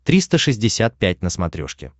триста шестьдесят пять на смотрешке